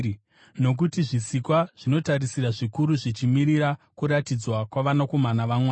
Nokuti zvisikwa zvinotarisira zvikuru zvichimirira kuratidzwa kwavanakomana vaMwari.